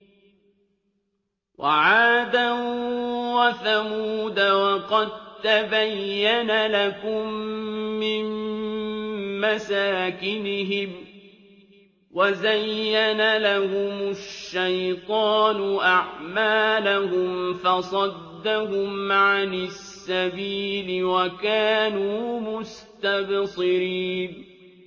وَعَادًا وَثَمُودَ وَقَد تَّبَيَّنَ لَكُم مِّن مَّسَاكِنِهِمْ ۖ وَزَيَّنَ لَهُمُ الشَّيْطَانُ أَعْمَالَهُمْ فَصَدَّهُمْ عَنِ السَّبِيلِ وَكَانُوا مُسْتَبْصِرِينَ